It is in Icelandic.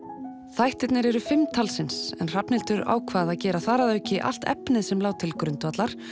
þættirnir eru fimm talsins en Hrafnhildur ákvað að gera þar að auki allt efnið sem lá til grundvallar